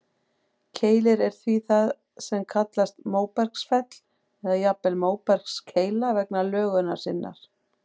Keilir er því það sem kallast móbergsfell, eða jafnvel móbergskeila vegna lögunar sinnar.